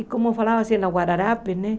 E como falava assim, na Guararapes, né?